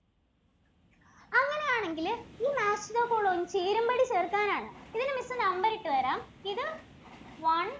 അങ്ങിനെയാണെങ്കില് ഈ match the following ചേരുംപടി ചേര്‍ക്കാനാണ്. ഇതിന് missnumber ഇട്ടുതരാം. ഇത് one